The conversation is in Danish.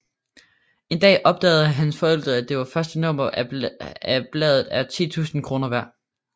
En dag opdager hans forældre at det første nummer af bladet er 10 000 kroner værd